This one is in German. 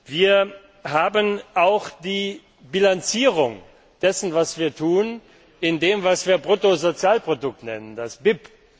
Wir haben auch die Bilanzierung dessen, was wir tun, in dem, was wir Bruttoinlandsprodukt nennen, das